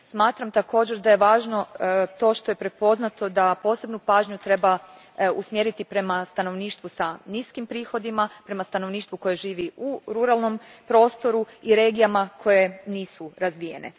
Smatram također da je važno to što je prepoznato da posebnu pažnju treba usmjeriti prema stanovništvu s niskim prihodima, prema stanovništvu koje živi u ruralnom prostoru i regijama koje nisu razvijene.